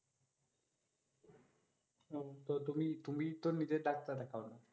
উহ তো তুমিই তুমিই তো নিজে ডাক্তার এখন।